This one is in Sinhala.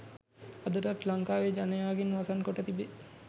අදටත් ලංකාවේ ජනයාගෙන් වසන් කොට තිබේ.